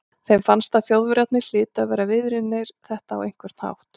Þeim fannst að Þjóðverjarnir hlytu að vera viðriðnir þetta á einhvern hátt.